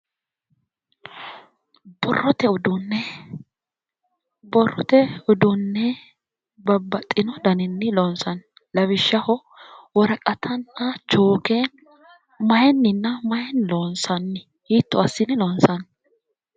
Borrote uduunne. Borrote uduunne babbaxxino daninni loonsanni. Lawishshaho woraqatanna chooke mayinni loonsanni? Hiitto assine loonsanni?